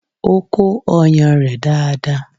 O kó ọyàn rẹ̀ dáadáa.